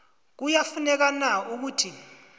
kuyafuneka na ukuthi